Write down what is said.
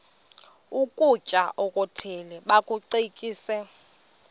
ukutya okuthile bakucekise